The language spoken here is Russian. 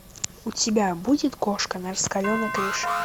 у тебя будет кошка на раскаленной крыше